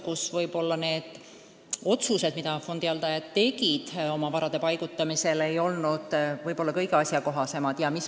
Siis ei olnud otsused, mis fondihaldajad varade paigutamisel tegid, vahest kõige asjakohasemad.